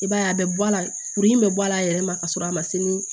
I b'a ye a bɛ bɔ a la kuru in bɛ bɔ a la a yɛrɛ ma ka sɔrɔ a ma se ni